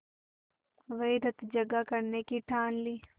वहीं रतजगा करने की ठान ली